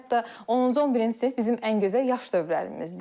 Hətta 10-cu, 11-ci sinif bizim ən gözəl yaş dövrlərimizdir.